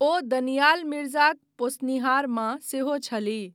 ओ दनियाल मिर्जाक पोसनिहार माँ सेहो छलीह।